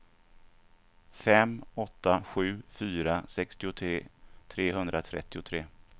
fem åtta sju fyra sextiotre trehundratrettiotre